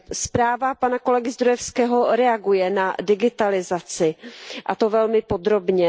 Zpráva pana kolegy Zdrojewského reaguje na digitalizaci, a to velmi podrobně.